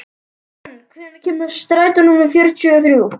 Fönn, hvenær kemur strætó númer fjörutíu og þrjú?